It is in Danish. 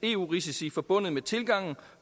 eu risici forbundet med tilgangen